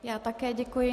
Já také děkuji.